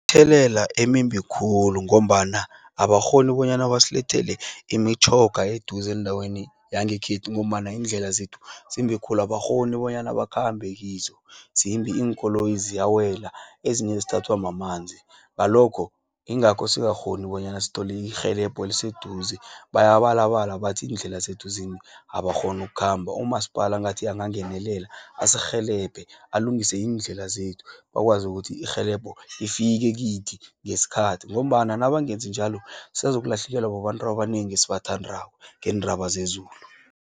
Mthelela emimbi khulu, ngombana abakghoni bonyana basilethele imitjhoga eduze endaweni yangekhethu, ngombana iindlela zethu zimbi khulu, abakghoni bonyana bakhambe kizo, zimbi iinkoloyi ziyawela, ezinye zithathwa mamanzi, ngalokho, ingakho singakghoni bonyana sitholi irhelebho eliseduze. Bayabalala bathi iindlela zethu zimbi, abakghoni ukukhamba. Umasipala ngathi angangenelela asirhelebhe alungise iindlela zethu, bakwazi ukuthi irhelebho lifike kithi ngeskhathi, ngombana nabangenzi njalo sazokulahlekelwa babantu abanengi esibathandako ngendaba zezulu.